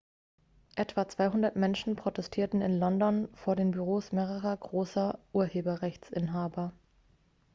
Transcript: etwa 200 menschen protestierten in london vor den büros mehrerer großer urheberrechtsinhaber